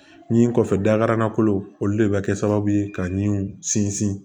Ni kɔfɛ dakarankolo olu de bɛ kɛ sababu ye ka niw sinsin